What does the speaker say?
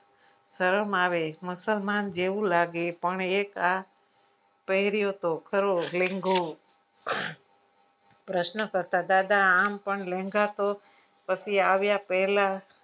શરમ આવે મુસલમાન જેવું લાગે એ પણ એક આ પહેર્યોતો લેન્ગો પ્રશ્ન કરતા દાદા આમ પણ લેંગા તો પછી આવ્યા પહેલા